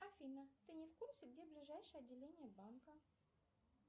афина ты не в курсе где ближайшее отделение банка